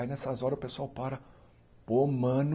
Aí nessas horas o pessoal para, pô mano,